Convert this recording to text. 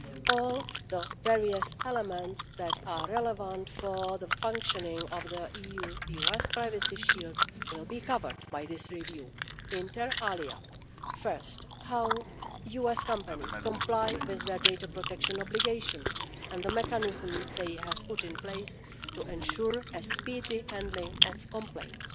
All the various elements that are relevant for the functioning of the EU US privacy shield will be covered by this review, inter alia first, how US companies comply with their data protection obligations and the mechanisms they have put in place to ensure a speedy handling of complaints.